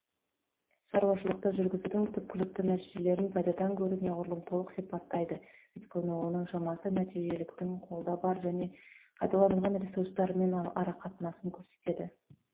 шаруашылықты жүргізудің түпкілікті нәтижелерін пайдадан гөрі неғұрлым толық сипаттайды өйткені оның шамасы нәтижеліліктің қолда бар және пайдаланылған ресурстармен арақатынасын көрсетеді